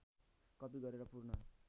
कपि गरेर पूर्ण